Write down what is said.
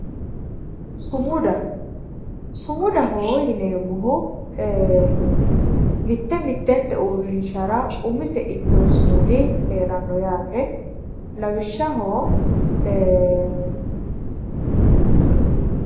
Sumudaho yineemmohu mitte mittente uurrishara umiseha ikkewoo sumudi heeranno yaate lawishshaho